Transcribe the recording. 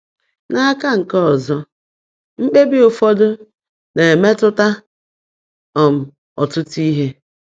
N’aka nke ọzọ, mkpebi ụfọdụ na-emetụta um ọtụtụ ihe.